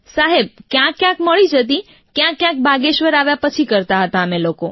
સાહેબ ક્યાંક ક્યાંક મળી જતી ક્યાંકક્યાંક બાગેશ્વર આવ્યા પછી કરતાં હતાં અમે લોકો